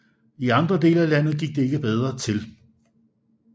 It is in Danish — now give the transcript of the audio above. I andre dele af landet gik der ikke bedre til